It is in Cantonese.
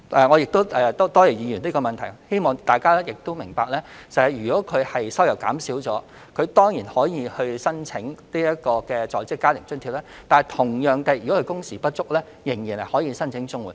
我多謝議員提出這項質詢，也希望大家明白，市民如果收入減少，當然可以申請在職家庭津貼；同樣地，如果工時不足，仍然可以申請綜援。